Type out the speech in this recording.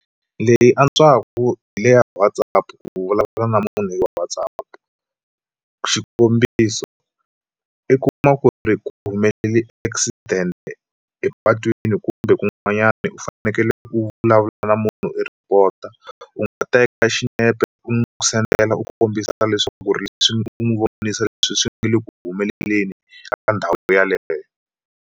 Leyi antswaku hi le ya WhatsApp ku vulavula na munhu hi Whatsapp xikombiso, i kuma ku ri ku humelele accident epatwini kumbe ku n'wanyani u fanekele u vulavulela munhu i report u teka xinepe u n'wi sendela u kombisa leswaku ri leswi n'wi vonisa leswi swi nga le ku humeleleni ka ndhawu yaleyo.